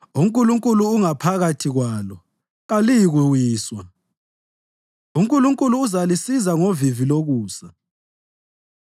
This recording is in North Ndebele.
UNkulunkulu ungaphakathi kwalo, kaliyikuwiswa; uNkulunkulu uzalisiza ngovivi lokusa.